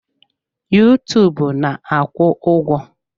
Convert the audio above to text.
Yuutuub na-akwụ ụgwọ.